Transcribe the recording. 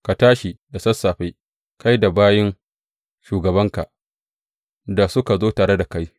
Ka tashi da sassafe, kai da bayin shugabanka da suka zo tare da kai.